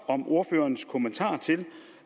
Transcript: ordførerens kommentar til